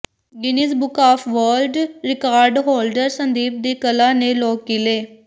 Guinness book of world record holder Sandeep ਦੀ ਕਲਾ ਨੇ ਲੋਕ ਕੀਲੇ